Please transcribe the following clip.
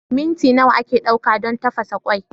Minti nawa ake ɗauka don tafasa kwai?